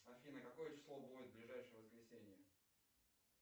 афина какое число будет в ближайшее воскресенье